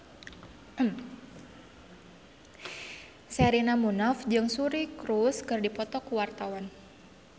Sherina Munaf jeung Suri Cruise keur dipoto ku wartawan